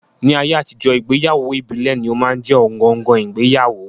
Ní ayé àtijọ́, ìgbéyàwó ìbílẹ̀ ní ó máa ń jẹ́ ọ̀gangan ìgbéyàwó